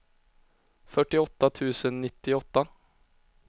fyrtioåtta tusen nittioåtta